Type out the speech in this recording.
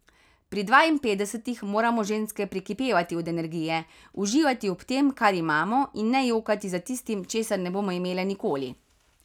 Pri dvainpetdesetih moramo ženske prekipevati od energije, uživati ob tem, kar imamo, in ne jokati za tistim, česar ne bomo imele nikoli.